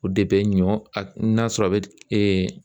O de bɛ ɲɔ no y'a sɔrɔ a bɛ